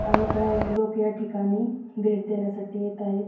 अनेको लोक याठिकाणी भेट देण्यासाठी येत आहेत.